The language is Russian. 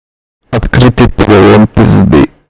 открытый перелом пизды